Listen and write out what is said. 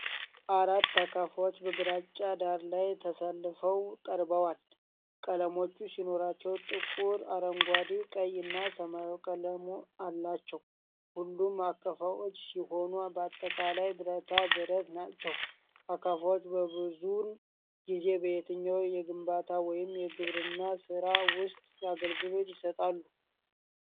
አራት አካፋዎች በግራጫ ዳራ ላይ ተሰልፈው ቀርበዋል። ቀለሞች ሲኖራቸው ጥቁር፣ አረንጓዴ፣ ቀይ እና ሰማያዊ ቀለም አላቸው። ሁሉም አካፋዎች ሲሆን በአጠቃላይ ብረታ ብረት ናቸው። አካፋዎች ብዙውን ጊዜ በየትኛው የግንባታ ወይም የግብርና ሥራ ውስጥ አገልግሎት ይሰጣሉ?